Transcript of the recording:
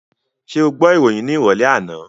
Ṣé o gbọ́ ìròyìn ní ìrọ̀lẹ́ àná?